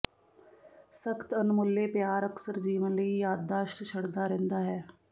ਸਖ਼ਤ ਅਣਮੁੱਲੇ ਪਿਆਰ ਅਕਸਰ ਜੀਵਨ ਲਈ ਯਾਦਦਾਸ਼ਤ ਛੱਡਦਾ ਰਹਿੰਦਾ ਹੈ